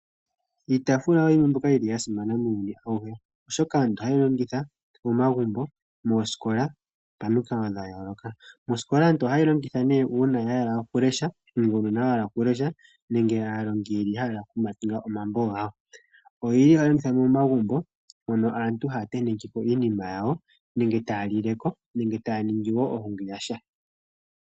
Iitaafula oyi yimwe yomiinima mbyoka ya simana muuyuni awuhe oshoka aantu ohaye yi longitha momagumbo, mosikola momikalo dha yooloka. Mosikola aantu ohaye yi longitha nee una ya hala okulesha nenge uunona wahala okulesha nenge aalongi yahala okutala mambo gaanona. Momagumbo ohayi longithwa ngele aantu taya lili le ko, taya tentekeko iinima yawo nenge taya ningile ko oohungi.